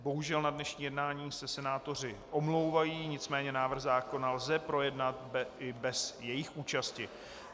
Bohužel na dnešní jednání se senátoři omlouvají, nicméně návrh zákona lze projednat i bez jejich účasti.